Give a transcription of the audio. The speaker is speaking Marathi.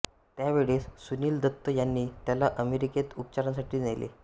त्यावेळेस सुनिल दत्त यांनी त्याला अमेरिकेत उपचारांसाठी नेले